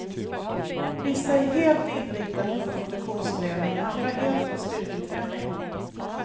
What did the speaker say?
Vissa är helt inriktade på konditionsträning, andra helt på styrketräning.